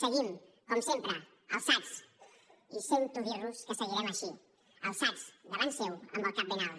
seguim com sempre alçats i sento dir los que seguirem així alçats davant seu amb el cap ben alt